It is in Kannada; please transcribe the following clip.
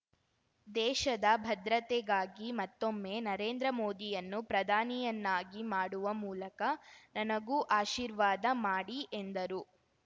ದೇಶದ ಭದ್ರತೆಗಾಗಿ ಮತ್ತೊಮ್ಮೆ ನರೇಂದ್ರ ಮೋದಿಯನ್ನು ಪ್ರಧಾನಿಯನ್ನಾಗಿ ಮಾಡುವ ಮೂಲಕ ನನಗೂ ಆಶೀರ್ವಾದ ಮಾಡಿ ಎಂದರು